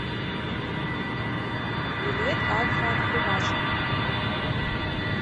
билет альфа открывашка